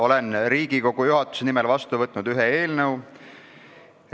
Olen Riigikogu juhatuse nimel vastu võtnud ühe eelnõu.